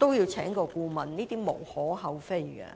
要聘請顧問，這是無可厚非的。